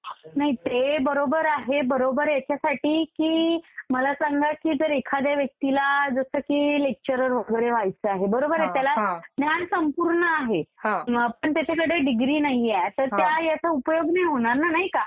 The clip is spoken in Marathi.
नाही ते बरोबर आहे बरोबर ह्याच्यासाठी की मला सांगा की एखाद्या व्यक्तीला जसं की लेक्चरर वगैरे व्हायचं आहे, बरोबर आहे? त्याला ज्ञान संपूर्ण आहे पण त्याच्याकडे डिग्री नाहीए तर त्या ह्याचा उपयोग नाही होणार ना, नाही का?